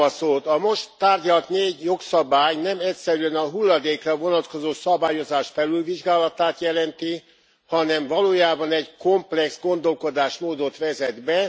A most tárgyalt négy jogszabály nem egyszerűen a hulladékra vonatkozó szabályozás felülvizsgálatát jelenti, hanem valójában egy komplex gondolkodásmódot vezet be.